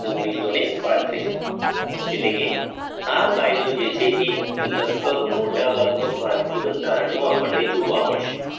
એટલે કે આ કાયદો જે છે એ લગભગ મોટાભાગનું ભારતીય બંધારણમાં આપણને જોવા મળશે